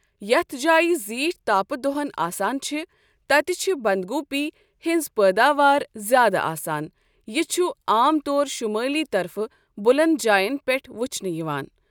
یَتھ جاے زیٖٹھ تاپہٕ دۄہَن آسان چھِ تَتہِ چھِ بَنٛدگوٗپی ہٕنٛز پٲداوار زیاد آسان یہِ چھُ عام طور شُمٲلؠ طَرفہٕ بُلند جاؠن پؠٹھ وُچھنہٕ یِوان.